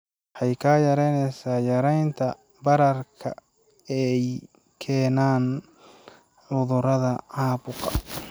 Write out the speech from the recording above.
Waxay kaa caawinaysaa yaraynta bararka ay keenaan cudurrada caabuqa.